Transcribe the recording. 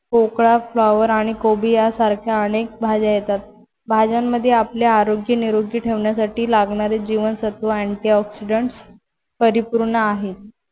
पोकळा, flower आणि कोबी यासारख्या अनेक भाज्या येतात. भाज्यांमध्ये आपलं आरोग्य निरोगी ठेवण्यासाठी लागणारे जीवनसत्व Antioxidant परिपूर्ण आहे.